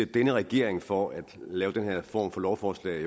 denne regering for at have lavet den her form for lovforslag